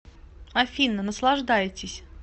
афина наслаждайтесь